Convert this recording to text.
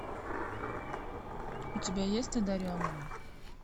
у тебя есть одаренный